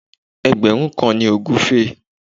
Ẹgbẹ̀rún kan ni ògúfe